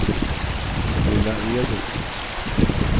Lilla Edet